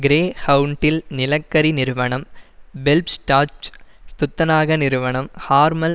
கிரேஹவுண்டில் நிலக்கரி நிறுவனம் பெல்ப்ஸ்டாட்ஜ் துத்தநாக நிறுவனம் ஹார்மல்